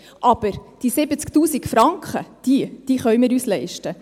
Aber die 70 000 Franken, die können wir uns leisten.